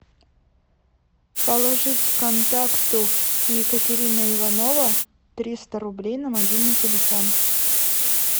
положить контакту екатерина иванова триста рублей на мобильный телефон